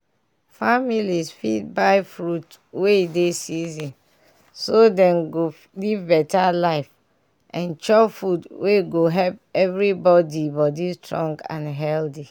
families fit buy fruits wey dey season so dem go live better life and chop food wey go help everybody body strong and healthy.